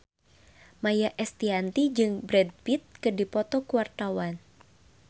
Maia Estianty jeung Brad Pitt keur dipoto ku wartawan